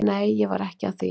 Nei, ég var ekki að því.